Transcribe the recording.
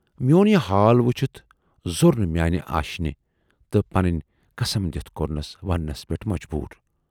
میون یہِ حال وُچھِتھ زور نہٕ میانہِ آشنہِ تہٕ پنٕنۍ قَسم دِتھ کورنَس وننس پٮ۪ٹھ مجبور۔